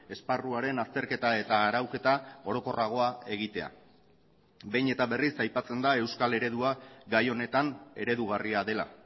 esparruaren azterketa eta arauketa orokorragoa egitea behin eta berriz aipatzen da euskal eredua gai honetan eredugarria dela